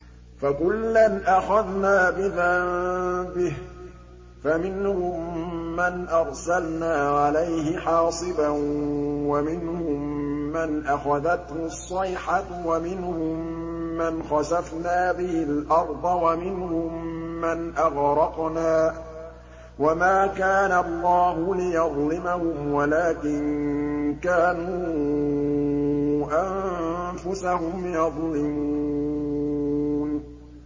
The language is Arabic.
فَكُلًّا أَخَذْنَا بِذَنبِهِ ۖ فَمِنْهُم مَّنْ أَرْسَلْنَا عَلَيْهِ حَاصِبًا وَمِنْهُم مَّنْ أَخَذَتْهُ الصَّيْحَةُ وَمِنْهُم مَّنْ خَسَفْنَا بِهِ الْأَرْضَ وَمِنْهُم مَّنْ أَغْرَقْنَا ۚ وَمَا كَانَ اللَّهُ لِيَظْلِمَهُمْ وَلَٰكِن كَانُوا أَنفُسَهُمْ يَظْلِمُونَ